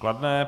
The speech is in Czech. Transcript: Kladné.